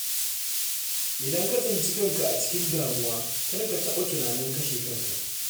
Idan ka tsinci kanka a cikin damuwa, kar ka taɓa tunanin kashe kanka.